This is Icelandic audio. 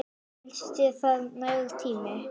Finnst þér það nægur tími?